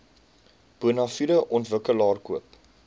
bonafide ontwikkelaar koop